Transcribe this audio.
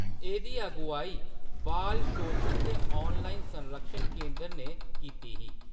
एह्‌‌‌दी अगुआई बाल शोशन ते ऑनलाइन संरक्षण केंद्र ने कीती ही।